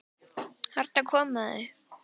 Þarna koma þau!